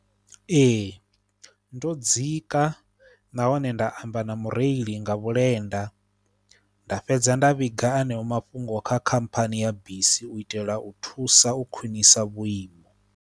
Ee ndo dzika nahone nda amba na mureili nga vhulenda, nda fhedza nda vhiga aneo mafhungo kha khamphani ya bisi u itela u thusa u khwinisa vhuimo.